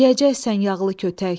Yeyəcəksən yağlı kötək.